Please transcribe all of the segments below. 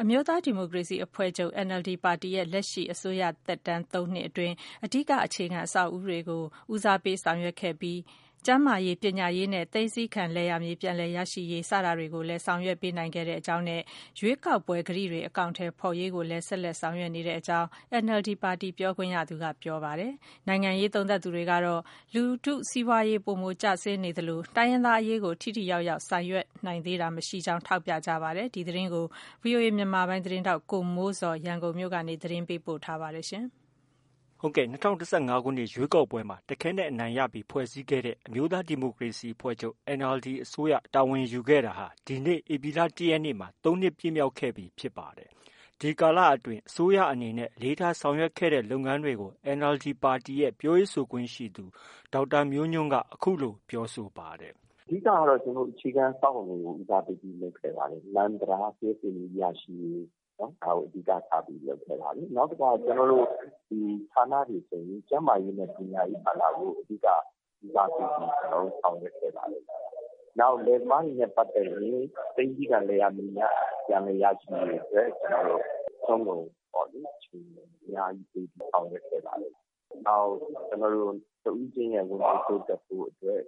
အမျိုးသားဒီမိုကရေစီအဖွဲ့ချုပ် NLD အစိုးရသက်တမ်း ၃နှစ်အတွင်းမှာ အဓိက အခြေခံအဆောက်အဦးတွေ ဦးစားပေး ဆောင်ရွက်ခဲ့ပြီးကျန်းမာရေး၊ ပညာရေးနဲ့ သိမ်းဆည်းခံ လယ်ယာမြေပြန်လည် ရရှိရေးစတာတွေကို ဆောင်ရွက်နိုင်ခဲ့ကြောင်းနဲ့ ရွေးကောက်ပွဲကတိတွေ အကောင်အထည်ဖော်ရေးကိုလည်း ဆက်လက် ဆောင် ရွက်နေကြောင်း NLDပါတီ ပြောခွင့်ရသူက ပြောပါတယ်။ နိုင်ငံရေးသုံးသပ်သူတွေကတော့ လူထုစီးပွားရေး ပိုမိုကျဆင်းနေသလို တိုင်းရင်းသားအရေးကို ထိထိရောက်ရောက်ဆောင်ရွက်နိုင်တာ မရှိကြောင်းထောက်ပြကြပါတယ်။ ဒီသတင်းကိုတော့ ဗွီအိုအေမြန်မာပိုင်းသတင်းထောက် ကိုမိုးဇော်က ရန်ကုန်မြို့ကနေ သတင်းပေးပို့ထားပါတယ်။ ၂၀၁၅ ရွေးကောက်ပွဲမှာ တခဲနက်အနိုင်ရပြီး ဖွဲ့စည်းခဲ့တဲ့ အမျိုးသားဒီမိုကရေစီအဖွဲ့ချုပ် NLD အစိုးရ တာဝန်ယူခဲ့တာဟာ ဒီနေ့ ဧပြီလ ၁ ရက်နေ့မှာ ၃နှစ်ပြည့်မြောက်ခဲ့ပြီဖြစ်ပါတယ်။ ဒီကာလအတွင်း အစိုးရအနေနဲ့ အလေးထားဆောင်ရွက်ခဲ့တဲ့ လုပ်ငန်းတွေကို NLD ပါတီရဲ့ ပြောရေးဆိုခွင့်ရှိသူ ဒေါက်တာမျိုးညွှန့်က အခုလို သုံးသပ်ပြောဆိုပါတယ်။ “အဓိကကတော့ အခြေခံအဆောက်အဦတွေကို ဦးစားပေးပြီး ဆောင်ရွက်ခဲ့ပါတယ်။ လမ်း၊ တံတား၊ လျှပ်စစ်မီးရရှိရေးဒါကို အဓိက ထားလုပ်ခဲ့ပါတယ်။ နောက်တခါ ကျနော်တို့ ဒီ ဌာနတွေဆိုရင် ကျန်းမာရေးနဲ့ ပညာရေးဌာန ကို အဓိက ဦးစားပေးဆောင်ရွက်ခဲ့ပါတယ်။ နောက် လယ်သမားတွေနဲ့ ပတ်သက်ရင် သိမ်းဆည်းခံ လယ်ယာမြေများ ပြန်လည် ရရှိရေးအတွက် ကျနော်တို့ အစွမ်းကုန် အချိန်အများကြီး ပေးပြီး ဆောင်ရွက် ခဲ့ပါတယ်။ နောက် တစ်ဦးချင်းရဲ့ ဝင်ငွေ တိုးတက်ဖို့ အတွက်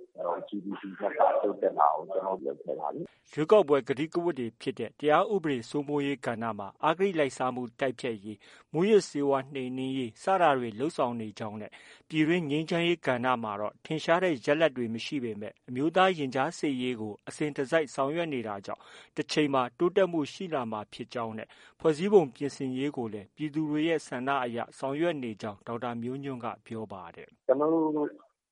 GDP ၂ဆတိုးတက်လာအောင် ကျနော်တို့ လုပ်ခဲ့ ပါတယ်။ ” ရွေးကောက်ပွဲ ကတိကဝတ်တွေဖြစ်တဲ့ တရားဥပဒေစိုးမိုးရေး ကဏ္ဍမှာ အဂတိလိုက်စားမှု တိုက်ဖျက်ရေး၊ မူးယစ် ဆေးဝါးနှိမ်နင်းရေး စတာတွေလုပ်ဆောင်နေကြောင်း၊ ပြည်တွင်း ငြိမ်းချမ်းရေးကဏ္ဍမှာတော့ ထင်ရှားတဲ့ ရလဒ် တွေ မရှိပေမဲ့ အမျိုးသားရင်ကြားစေ့ရေးကို အစဉ်တစိုက်ဆောင်ရွက်နေလို့ တချိန်မှာ တိုးတက်မှု ရှိလာနိုင်မှာ ဖြစ်ကြောင်း၊ ဖွဲ့စည်းပုံပြင်ဆင်ရေးကိုလည်း ပြည်သူတွေဆန္ဒအရ ဆောင်ရွက် နေကြောင်းဒေါက်တာမျိုးညွှန့်က ပြောပါတယ်။ “ကျနော်တို့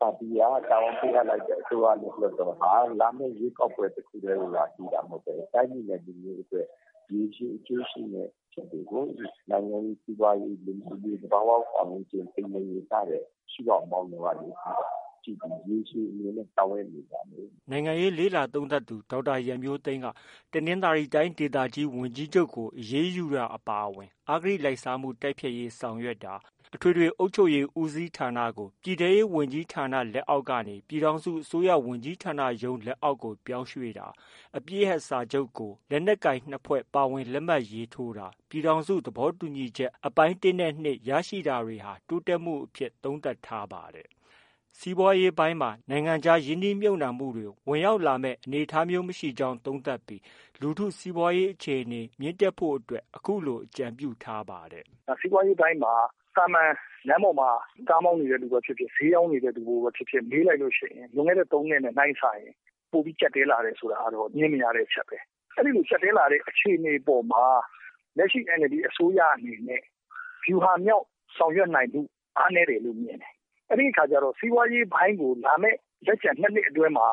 ပါတီက တာဝန်ပေးအပ်လိုက်တဲ့ အစိုးရနဲ့ လွှတ်တော်ဟာ လာမယ့် ရွေးကောက်ပွဲကိုသာ အဓိက မဟုတ်ဘဲ တိုင်းပြည်နဲ့ လူမျိုးအတွက် ရေရှည်အကျိုးရှိမယ့် အချက်တွေကို နိုင်ငံရေး၊ စီးပွားရေး၊ လူမှုရေး၊ သဘာ၀ ပတ်ဝန်းကျင် ထိန်းသိမ်းရေးစတဲ့ ရှုထောင့်ပေါင်းစုံကနေကြည့်ပြီး ရေရှည်အမြင်နဲ့ ဆောင်ရွက် နေပါတယ်။” နိုင်ငံရေးလေ့လာသုံးသပ်သူ ဒေါက်တာရန်မျိုးသိမ်းက တနင်္သာရီတိုင်းဒေသကြီးဝန်ကြီးချုပ်ကို အရေးယူတာ အပါအဝင် အဂတိ လိုက်စားမှု တိုက်ဖျက်ရေး ဆောင်ရွက်တာ၊ အထွေထွေအုပ်ချုပ်ရေးဦးစီးဌာနကို ပြည်ထဲရေး ဝန်ကြီးဌာန လက်အောက်ကနေ ပြည်ထောင်စုအစိုးရဝန်ကြီးဌာနရုံးလက်အောက်ကို ပြောင်းရွှေ့တာ၊ အပစ်ရပ် စာချုပ်ကို လက်နက်ကိုင် ၂ဖွဲ့ ပါဝင် လက်မှတ်ထိုးတာ၊ ပြည်ထောင်စု သဘောတူညီချက်အပိုင်း ၁နဲ့ ၂ ရရှိတွေဟာ တိုးတက်မှုအဖြစ် သုံးသပ်ထားပါတယ်။ စီးပွားရေးပိုင်းမှာ နိုင်ငံခြားရင်းနှီးမြုပ်နှံမှုတွေ ဝင်ရောက်လာမယ့် အနေအထားမျိုး မရှိကြောင်းသုံးသပ်ပြီး လူထုစီးပွားရေး အခြေအနေ မြင့်တက်ရေးအတွက် အခုလို အကြံပြုထားပါတယ်။ “စီးပွားရေးမှာ သာမန် လမ်းပေါ်မှာ ကားမောင်းနေတဲ့ လူပဲဖြစ်ဖြစ်၊ ဈေးရောင်းနေတဲ့ လူပဲဖြစ်ဖြစ် မေးလိုက်ရင် လွန်ခဲ့တဲ့ ၃နှစ်ထက် နှိုင်းစာရင် ပိုပြီး ကျပ်တည်း လာတာကတော့ ငြင်းမရတဲ့အချက်ပဲ။ အဲဒီလို ကျပ်တည်းလာတဲ့ အခြေအနေပေါ်မှာ လက်ရှိ NLD အစိုးရအနေနဲ့ ဗျူဟာမြောက် ဆောင်ရွက်နိုင်မှု အားနည်းတယ်လို့ မြင်တယ်။ အဲဒီအခါကျတော့ စီးပွားရေးပိုင်းကိုလာမယ့် လက်ကျန်၂နှစ်မှာ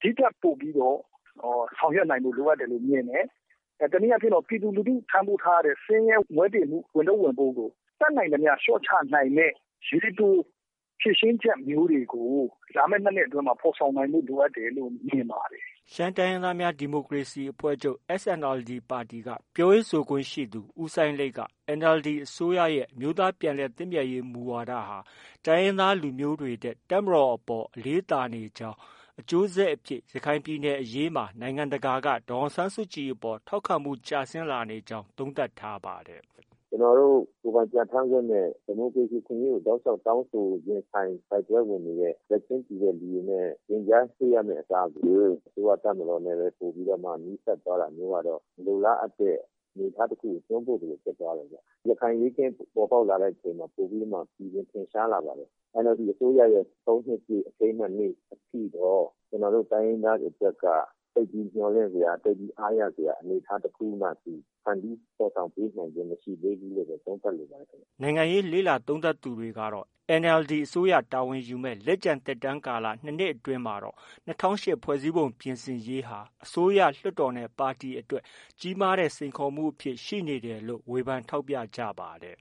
ဒီထက်ပိုပြီး ဆောင်ရွက်နိုင်ဖို့ လိုအပ်တယ်လို့မြင်တယ်။ တစ်နည်းအားဖြင့် ပြည်သူလူထု ထမ်းပိုးထားရတဲ့ ဆင်းရဲမွဲတေမှု ဝန်ထုပ်ဝန်ပိုးကို တတ်နိုင်သမျှ လျော့ချနိုင်မယ့် ရေတို ဖြေရှင်းချက်မျိုးတွေကို လာမယ့် ၂နှစ်အတွင်းမှာ ဖော်ဆောင် နိုင်ဖို့ လိုအပ်တယ်လို့ မြင်ပါတယ်။ ” ရှမ်းတိုင်းရင်းသားများ ဒီမိုကရေစီအဖွဲ့ချုပ်ပါတီ ပြောရေးဆိုခွင့်ရှိသူ ဦးစိုင်းလိတ်က NLD အစိုးရရဲ့ အမျိုးသားပြန်လည်သင့်မြတ်ရေးမူဝါဒဟာ တိုင်းရင်းသားလူမျိုးတွေထက် တပ်မတော်အပေါ် အလေးသာ နေကြောင်း၊ အကျိုးဆက်အဖြစ် ရခိုင်ပြည်နယ်အရေးမှာ နိုင်ငံတကာက ဒေါ်အောင်ဆန်းစုကြည်အပေါ် ထောက်ခံမှုကျဆင်းလာနေကြောင်း သုံးသပ်ထားပါတယ်။ “ကျနော်တို့ ကိုယ်ပိုင်ပြဌာန်းခွင့်နဲ့ ဒီမိုကရေစီရေးကို တောက်လျောက် တောင်းဆို တိုက်ပွဲဝင်နေတဲ့ ဘက်ချင်းတူတဲ့သူတွေနဲ့ ရင်ကြားစေ့ရမယ့်အစားကို အစိုးရ တပ်မတော်နဲ့ပဲ ပိုပြီးတော့မှ နီးစပ်သွားတာ မျိုးကတော့ မလိုလားအပ်တဲ့ အနေအထားတစ်ခုကို တွန်းပို့သလို ဖြစ်သွားတယ်။ ရခိုင်အရေးအခင်း ပေါ်ပေါက်လာတဲ့အခါ ပိုပြီး ထင်ရှားလာပါတယ်။ NLD အစိုးရရဲ့ ၃နှစ်ပြည့် အထိမ်းအမှတ်နေ့ အထိတော့ ကျနော်တို့ တိုင်းရင်းသားတွေ အတွက်က သိပ်ပြီးမျှော်လင့်စရာ၊ သိပ်ပြီး အားရစရာ တစ်ခုမှ သူ ဖန်တီးဖော်ဆောင်ပေးနိုင်ခြင်း မရှိသေးဘူးလို့ပဲ သုံးသပ်လိုပါတယ်။” နိုင်ငံရေးလေ့လာ သုံးသပ်သူတွေကတော့ NLD အစိုးရ တာဝန်ယူမယ့် လက်ကျန်သက်တမ်းကာလ ၂နှစ် အတွင်းမှာတော့ ၂၀၀၈ ဖွဲ့စည်းပုံပြင်ဆင်ရေးဟာ အစိုးရ၊ လွှတ်တော်နဲ့ ပါတီအတွက်ပါ ကြီးမားတဲ့ စိန်ခေါ်မှုအဖြစ် ရှိနေတယ်လို့ ဝေဖန်ထောက်ပြကြပါတယ်